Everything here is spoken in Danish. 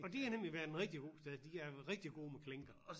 Og de har nemlig været en rigtig god sted de er rigtig gode med klinker